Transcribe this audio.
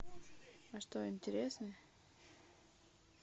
а что интересный